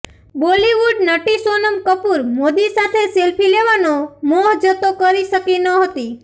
બોલિવૂડ નટી સોનમ કપૂર મોદી સાથે સેલ્ફી લેવાનો મોહ જતો કરી શકી નહોતી